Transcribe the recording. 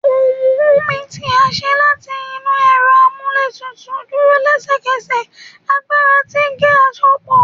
Ohùn humming ti a ṣe lati inu ẹrọ amúlétutùú duro lẹsẹkẹsẹ agbara ti ge-asopo